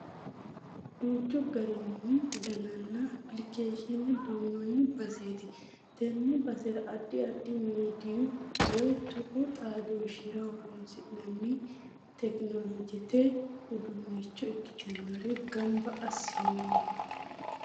Duuchu garinna danni applikeeshiine duunnoonni baseeti. Tenne basera addi addi miidiyu woy tuqu xaadooshshira horoonsi'nanni tekinoloojete udduunnicho ikkitinore gamba assinnoonni.